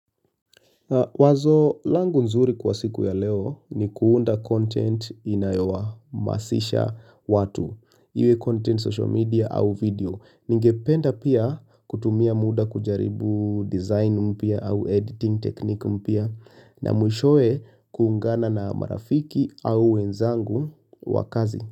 Wazo langu nzuri kwa siku ya leo ni kuunda content inayo waamasisha watu, iwe content social media au video. Ningependa pia kutumia muda kujaribu design mpya au editing technique mpya na mwishowe kuungana na marafiki au wenzangu wakazi.